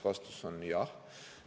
Vastus on jah.